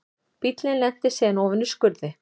Bíllinn lenti síðan ofan í skurði